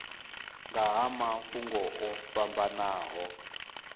nga ha mafhungo o fhambanaho